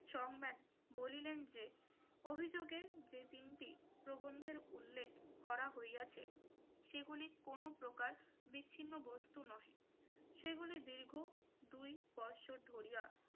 song ম্যান বলিলেন যে অভিযোগে যে তিনটি প্রবন্ধের উল্লেখ করা হইয়াছে সেগুলি কোন প্রকার বিচ্ছিন্ন বস্তু নয়, সেগুলি দীর্ঘ দুই বছর ধরিয়া